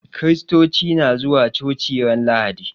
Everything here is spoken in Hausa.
Kiristoci na zuwa coci ran lahadi